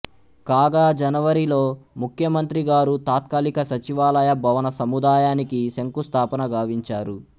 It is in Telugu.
కాగా జనవరి లో ముఖ్యమంత్రి గారు తాత్కాలిక సచివాలయ భవన సముదాయానికి శంకుస్థాపన గావించారు